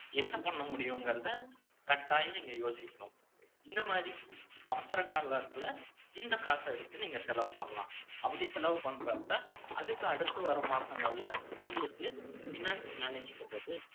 என்ன பண்ண முடியுங்கறதை, கட்டாயம் நீங்க யோசிக்கணும். இந்த மாதிரி, அவசர காலத்துல, இந்த காசை எடுத்து, நீங்க செலவு பண்ணலாம் அப்படி செலவு பண்றப்ப, அதுக்கு அடுத்து வர மாசங்கள்ல, உங்களுக்கு finance manage பண்றது,